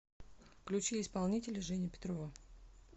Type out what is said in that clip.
включи исполнителя женя петрова